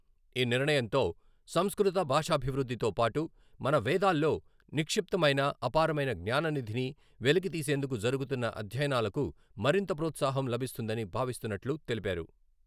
ఈ నిర్ణయంతో సంస్కృత భాషాభివృద్ధితో పాటు మన వేదాల్లో నిక్షిప్తమైన అపారమైన జ్ఞాననిధిని వెలికితీసేందుకు జరుగుతున్న అధ్యయనాలకు మరింత ప్రోత్సాహం లభిస్తుందని భావిస్తున్నట్లు తెలిపారు.